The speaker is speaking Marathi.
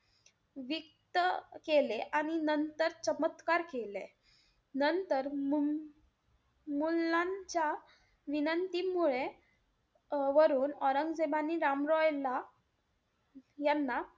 वीत्त केले आणि नंतर चमत्कार केले. नंतर मु~ मुलांच्या विनंतीमुळे अं वरून औरंगजेबाने राम रॉय याला~ यांना,